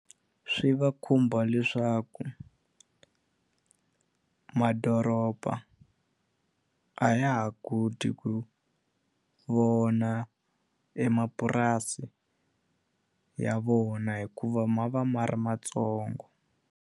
Swi va khumba leswaku madoroba a ya ha koti ku vona e mapurasi ya vona hikuva ma va ma ri matsongo.